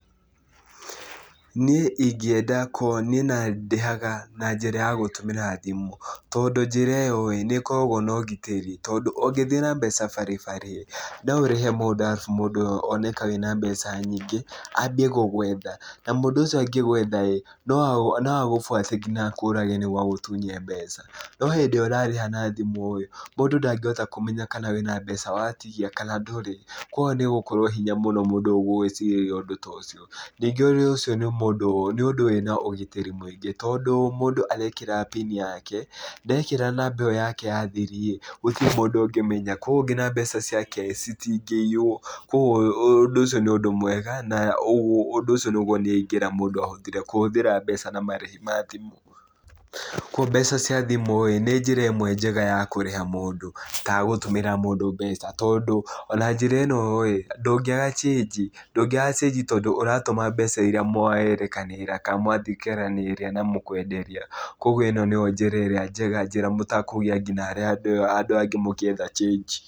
Niĩ ingĩenda niĩ ona ndĩhaga na njĩra ya gũtũmĩra thimũ. Tondũ njĩra ĩyo ĩĩ, nĩ ĩkoragwo na ũgitĩri. Tondũ ũngĩthiĩ na mbeca baribari , no ũrĩhe mũndũ arabu mũndũ ũyũ one ka wĩna mbeca nyingĩ, ambie gũgwetha. Na mũndũ ũcio angĩgwetha ĩĩ, no no agũbuate nginya akũrage nĩguo agũtunye mbeca. No hĩndĩ ĩrĩa ũrarĩha na thimũ ĩĩ, mũndũ ndangĩhota kũmenya kana wĩna mbeca watigia kana ndũrĩ. Kũguo nĩ ũgũkorwo hinya mũno mũndũ gũgũĩcirĩria ũndũ ta ũcio. Nyingĩ ũcio nĩ mũndũ nĩ ũndũ wĩna ũgitĩri mũingĩ, tondũ mũndũ arekĩra pini yake, ndekĩra namba ĩyo yake ya thiri ĩĩ, gutirĩ mũndũ ũngĩmenya, kũguo nginya mbeca ciake citingĩiywo. Kũguo ũndũ ũcio nĩ ũndũ mwega na ũndũ ũcio nĩguo ingĩra mũndũ ahũthĩre kũhũthĩr mbeca na marĩhi ma thimũ. Kũguo mbeca cia thimũ ĩĩ nĩ njĩra ĩmwe njega ya kũrĩha mũndũ kana gũtũmĩra mũndũ mbeca. Tondũ ona njĩra ĩno ĩĩ, ndũngĩaga change ndũngĩaga cĩnji tondũ ũratũma mbeca irĩa mwarĩkanĩra kana mwatigananĩra na mũkwenderia. Kũguo ĩno nĩyo njíĩra ĩrĩa njega njĩra ĩrĩa nginya mũtakũgia nginya andũ arĩa angĩ mũgĩetha chĩngi.